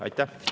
Aitäh!